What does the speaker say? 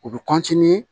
U bɛ